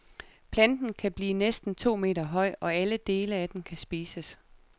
Planten kan blive næsten to meter høj, og alle dele af den kan spises.